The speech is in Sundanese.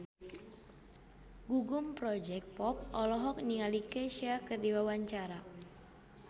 Gugum Project Pop olohok ningali Kesha keur diwawancara